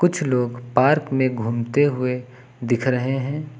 कुछ लोग पार्क में घूमते हुए दिख रहे हैं।